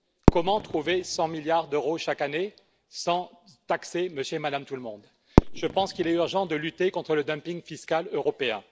Comment trouver 100⁰milliards d'euros, chaque année, sans taxer monsieur et madame tout le monde? Je pense qu'il est urgent de lutter contre le dumping fiscal européen.